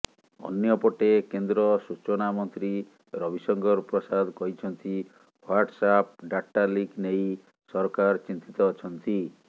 ଅନ୍ୟପଟେ କେନ୍ଦ୍ର ସୂଚନା ମନ୍ତ୍ରୀ ରବିଶଙ୍କର ପ୍ରସାଦ କହିଛନ୍ତି ହ୍ୱାଟସଆପ ଡାଟା ଲିକ୍ ନେଇ ସରକାର ଚିନ୍ତିତ ଅଛନ୍ତି